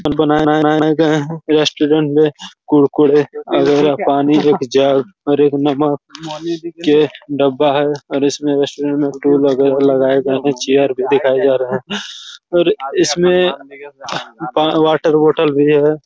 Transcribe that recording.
restaurant में कुरकुरे और पानी के जग और एक नमक के डब्बा है और उसमे रेस्टोरेंट मे टूल वगैरा लगये गए है चेयर भी दिखाई गए है और उसमे वाटर बॉटल भी है